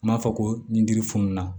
N b'a fɔ ko nin ji fununa